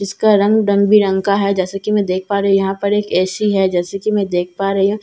जिसका रंग रंग-बिरंगा का है जैसे की मैं देख पा रही हूँ यहाँ पर एक ए.सी. है जैसे कि मैं देख पा रही हूँ।